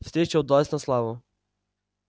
встреча удалась на славу